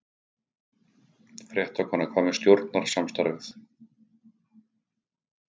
Fréttakona: Hvað með stjórnarsamstarfið?